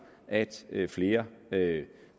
at flere